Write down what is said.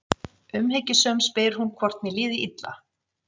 Umhyggjusöm spyr hún hvort mér líði illa.